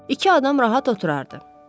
İki adam rahat oturardı.